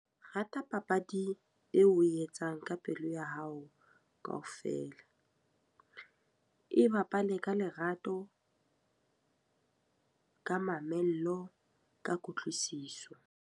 Rata papadi eo oe etsang ka pelo ya hao kaofela. E bapale ka lerato, ka mamello, ka kutlwisiso.